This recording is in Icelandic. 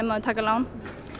að taka lán